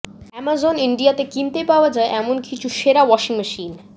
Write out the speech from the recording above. Amazon ইন্ডিয়াতে কিনতে পাওয়া যায় এমন কিছু সেরা ওয়াশিং মেশিন